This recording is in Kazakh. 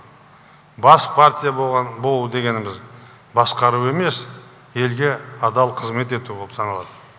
бас партия болу дегеніміз басқару емес елге адал қызмет ету болып саналады